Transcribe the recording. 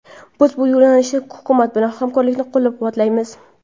Biz bu yo‘nalishdagi hukumat bilan hamkorlikni qo‘llab-quvvatlaymiz.